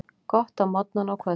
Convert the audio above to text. Gott á morgnana og kvöldin.